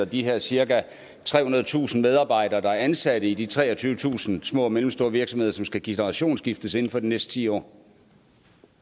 de her cirka trehundredetusind medarbejdere der er ansat i de treogtyvetusind små og mellemstore virksomheder som skal generationsskiftes inden for de næste ti år